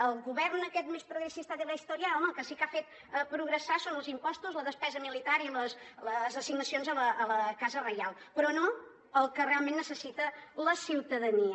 el govern aquest més progresista de la historia home el que sí que ha fet progressar són els impostos la despesa militar i les assignacions a la casa reial però no el que realment necessita la ciutadania